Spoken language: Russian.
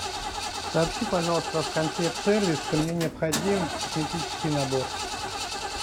сообщи пожалуйста в консьерж сервис что мне необходим косметический набор